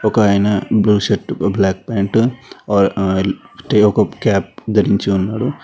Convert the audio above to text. ఒక ఆయన blue shirt black pant ఒక క్యాప్ ధరించి ఉన్నాడు.